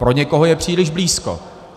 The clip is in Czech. Pro někoho je příliš blízko.